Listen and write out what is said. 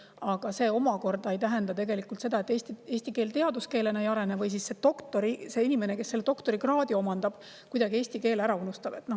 Aga see omakorda ei tähenda seda, et eesti keel teaduskeelena ei arene või see doktor, inimene, kes doktorikraadi omandab, eesti keele kuidagi ära unustab.